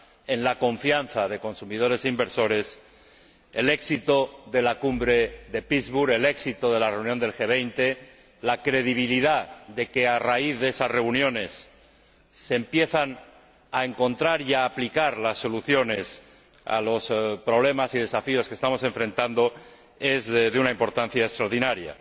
en la confianza de consumidores e inversores, el éxito de la Cumbre de Pittsburgh, el éxito de la reunión del G 20, la credibilidad de que, a raíz de esas reuniones se empiezan a encontrar y a aplicar las soluciones a los problemas y desafíos que estamos afrontando, es de una importancia extraordinaria.